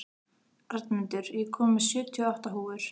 Arnmundur, ég kom með sjötíu og átta húfur!